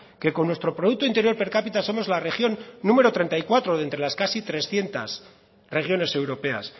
que con nuestro producto interior per capita somos la región número treinta y cuatro de entre las casi trescientos regiones europeas